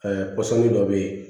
kɔsɔn dɔ be yen